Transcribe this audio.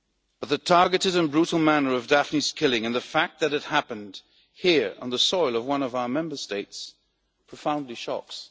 But the targeted and brutal manner of Daphne's killing and the fact that it happened here on the soil of one of our Member States profoundly shocks.